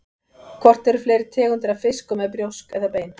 Hvort eru fleiri tegundir af fiskum með brjósk eða bein?